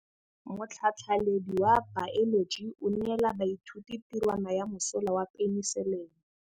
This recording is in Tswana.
Motlhatlhaledi wa baeloji o neela baithuti tirwana ya mosola wa peniselene.